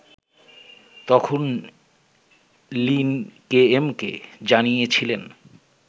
তখন লিন কেএমকে জানিয়েছিলেন